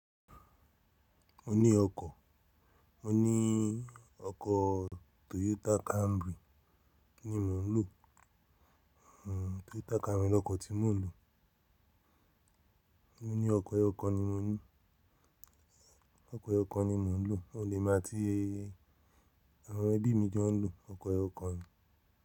Mo ní ọkọ̀, mo ní ọkọ̀ Toyota Camry ni mò ń lò. Hhm Toyota Camry lọkọ̀ tí mò ń lò. Mo ní ọkọ̀, ẹyo kan ni mo ní. Ọkọ̀ eyo kan ni mò ń lò, ò le má tí ẹ. Àwọn ẹbí mi jọ ń lò ọkọ̀ ẹyo kan ni.